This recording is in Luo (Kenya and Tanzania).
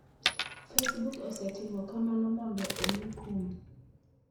Facebook osetimo kamano mondo omi kum.